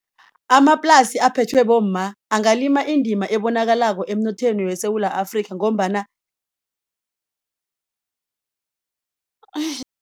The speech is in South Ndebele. Amaplasi aphethwe bomma angalima indima ebonakalako emnothweni weSewula Afrika ngombana